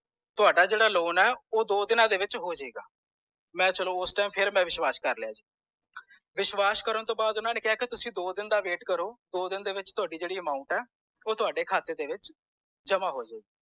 ਤੁਹਾਡਾ ਜੇੜਾ loan ਹੈ ਓਹ ਦੋ ਦੀਨਾ ਦੇ ਵਿੱਚ ਹੋਜੇਗਾ ਮੈਂ ਚਲੋ ਉਸ time ਮੈਂ ਵਿਸ਼ਵਾਸ ਕਰ ਲਿਆ ਜੀ ਵਿਸ਼ਵਾਸ ਕਰਨ ਤੌਂ ਬਾਅਦ ਓਹਨਾ ਨੇ ਕਿਹਾ ਕਿ ਤੁਸੀ ਦੋ ਦਿਨ ਦਾ wait ਕਰੋ ਦੋ ਦਿਨ ਦੇ ਵਿਚ ਤੁਹਾਡੀ ਜੇੜੀ amount ਹੈ ਓਹ ਤੁਹਾਡੇ ਖਾਤੇ ਦੇ ਵਿਚ ਜਮਾ ਹੋਜੇਗੀ